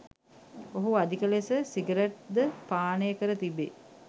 ඔහු අධික ලෙස සිගරැුට් ද පානය කර තිබේ